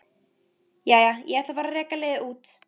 Jæja, ég ætla að fara að reka liðið út.